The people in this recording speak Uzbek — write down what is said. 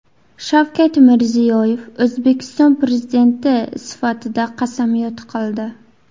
Shavkat Mirziyoyev O‘zbekiston Prezidenti sifatida qasamyod qildi .